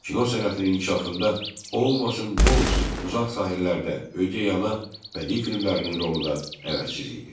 Kino sənətinin inkişafında Olmasın bu olsun, Uzaq sahillərdə, Ögey ana bədii filmlərinin rolu da əvəzsiz idi.